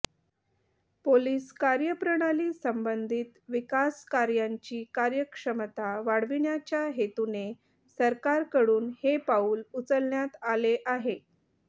police कार्यप्रणाली संबंधित विकासकार्यांची कार्यक्षमता वाढविण्याच्या हेतूने सरकारकडून हे पाऊल उचलण्यात आले आहे